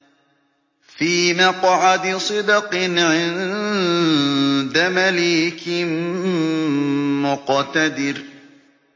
فِي مَقْعَدِ صِدْقٍ عِندَ مَلِيكٍ مُّقْتَدِرٍ